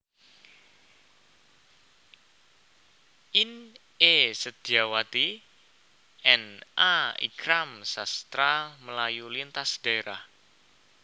In E Sedyawati and A Ikram Sastra Melayu Lintas Daerah